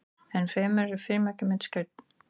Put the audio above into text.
enn fremur eru frímerki myndskreytt